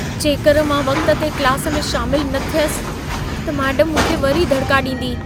जेकर मां वक़्त ते क्लास में शामिल न थियसि, त मेडमु मूंखे वरी दड़िका ॾींदी।